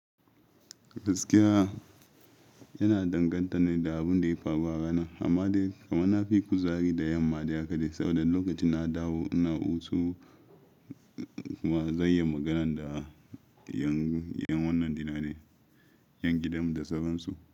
Gaskiya yana danganta ne da abun da ya faru a rana, amma dai kuma na fi kuzari da yamma dai haka dai, saboda lokacin na dawo ina hutu kuma zan yi magana da 'yan wannan dina ne, 'yan gidanmu da sauran su.